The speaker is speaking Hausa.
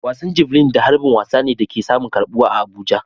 Wasan Javelin da harbin wasa ne da ke samun karbuwa a Abuja.